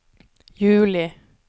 juli